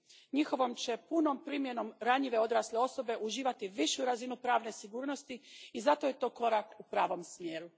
Njihovom će punom primjenom ranjive odrasle osobe uživati višu razinu pravne sigurnosti i zato je to korak u pravom smjeru.